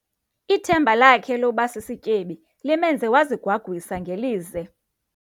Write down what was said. Ithemba lakhe loba sisityebi limenze wazigwagwisa ngelize.